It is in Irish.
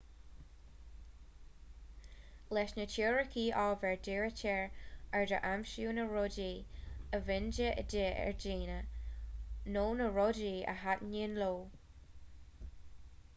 leis na teoiricí ábhair dírítear aird ar aimsiú na rudaí a bhíonn de dhíth ar dhaoine nó na rudaí a thaitníonn leo